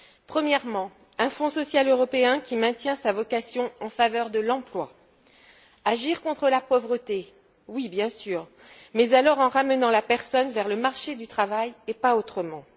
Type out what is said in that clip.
Premièrement, un Fonds social européen qui maintient sa vocation en faveur de l'emploi. Agir contre la pauvreté, oui bien sûr, mais alors en ramenant la personne vers le marché du travail et pas autrement.